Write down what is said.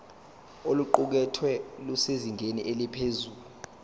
oluqukethwe lusezingeni eliphezulu